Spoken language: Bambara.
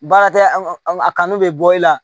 Baara tɛ an ka a kanu bɛ bɔ i la